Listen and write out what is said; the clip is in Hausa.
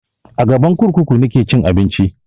A gaban kurkuku nake cin abinci